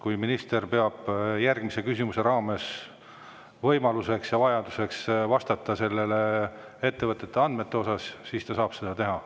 Kui minister peab järgmise küsimuse raames vajalikuks vastata nende ettevõtete andmete osas, siis ta saab seda teha.